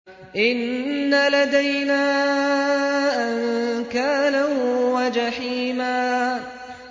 إِنَّ لَدَيْنَا أَنكَالًا وَجَحِيمًا